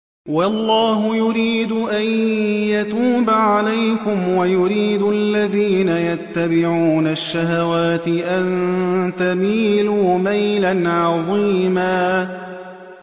وَاللَّهُ يُرِيدُ أَن يَتُوبَ عَلَيْكُمْ وَيُرِيدُ الَّذِينَ يَتَّبِعُونَ الشَّهَوَاتِ أَن تَمِيلُوا مَيْلًا عَظِيمًا